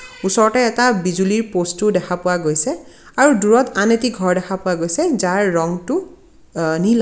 ওচৰতে এটা বিজুলীৰ পস্ত ও দেখা পোৱা গৈছে আৰু দূৰত আন এটি ঘৰ দেখা পোৱা গৈছে যাৰ ৰংটো আঁ নীলা.